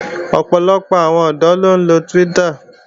Ọ̀pọ̀lọpọ̀ àwọn ọ̀dọ́ ló ń lo Twitter